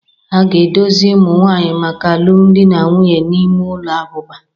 A ga-edozi ụmụ nwanyị maka alụmdi na nwunye n'ime ụlọ abụba